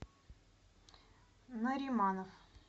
нариманов